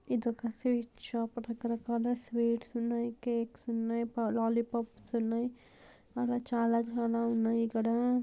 ఇదొక sweet shop ఇక్కడ కొన్ని స్వీట్స్ ఉన్నాయి కేక్స్ ఉన్నాయి. లల్లి పోప్స్ అలా చాలా చాలా ఉన్నాయి ఇక్కడ.